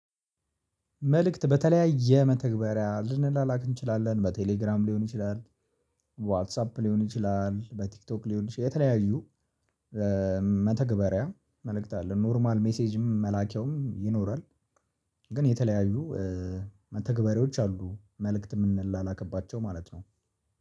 መልእክት በተለያየ መተግበሪያ ልንላክ እንችላለን በቴሌግራም ሊሆን ይችላል። ዋትሳፕ ሊሆን ይችላል በቲክቶክ ሊሆን ይችላል የተለያዩ መተግበሪያ መልእክት አለ ኖርማል ሜሴጅም መላኪያውም ይኖራል። ግን የተለያዩ መተግበሪዎች አሉ መልእክት የምንላላክባቸው ማለት ነው